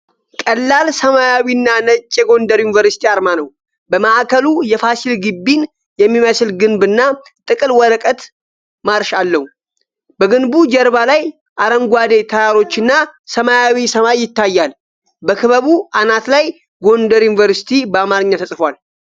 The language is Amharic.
ቀላል ሰማያዊና ነጭ የጎንደር ዩኒቨርሲቲ አርማ ነው። በማዕከሉ የፋሲል ግቢን የሚመስል ግንብ እና ጥቅል ወረቀት ላይ ማርሽ አለው። በግንቡ ጀርባ ላይ አረንጓዴ ተራሮችና ሰማያዊ ሰማይ ይታያል። በክበቡ አናት ላይ 'ጎንደር ዩኒቨርሲቲ' በአማርኛ ተጽፏል።